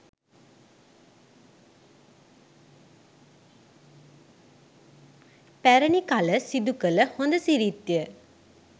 පැරැණි කළ සිදු කළ හොඳ සිරිත් ය